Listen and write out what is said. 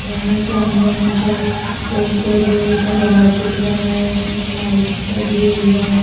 यहां सामने मुझे एक लोहे का रोड दिख रहा है उसमें लाइट्स लगी हुई है।